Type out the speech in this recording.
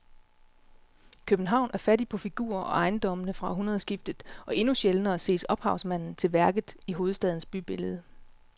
København er fattig på figurer på ejendommene fra århundredskiftet og endnu sjældnere ses ophavsmanden til værket i hovedstadens bybillede.